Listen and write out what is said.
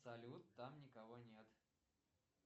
салют там никого нет